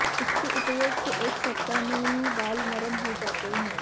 इसके उपयोग से एक सप्ताह में ही बाल नरम हो जाते हैं